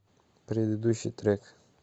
предыдущий трек